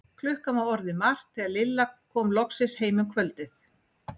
Klukkan var orðin margt þegar Lilla kom loksins heim um kvöldið.